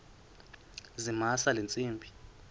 zamisa le ntsimbi